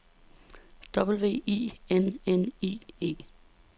W I N N I E